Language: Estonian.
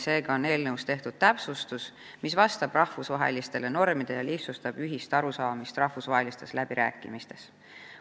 Seega on eelnõus tehtud täpsustus, mis vastab rahvusvahelistele normidele ja lihtsustab ühisele arusaamisele jõudmist rahvusvahelistes läbirääkimistes.